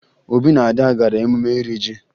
Obi na Ada gara emume iri ji